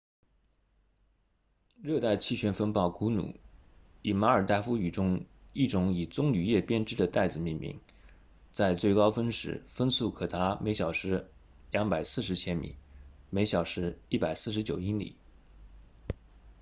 热带气旋风暴古努以马尔代夫语中一种以棕榈叶编织的袋子命名在最高峰时风速可达每小时240千米每小时149英里